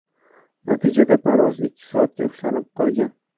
Natijada parvoz ikki soatga ushlanib qolgan.